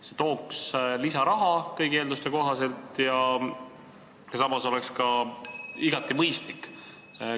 See tooks kõigi eelduste kohaselt lisaraha ja oleks üldse igati mõistlik.